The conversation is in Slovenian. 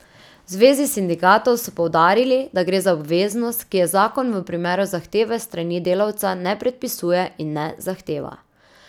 V zvezi sindikatov so poudarili, da gre za obveznost, ki je zakon v primeru zahteve s strani delavca ne predpisuje in ne zahteva.